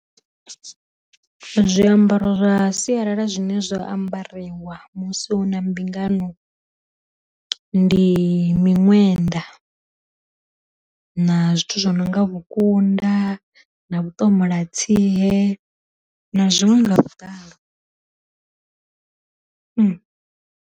Zwiambaro zwa sialala zwine zwa ambariwa musi hu na mbingano, ndi miṅwenda na zwithu zwo no nga vhukunda na vhu ṱomola tsie na zwiṅwe nga vhuḓalo .